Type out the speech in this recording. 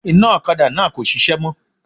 Iná òkadá náà kò sisé mó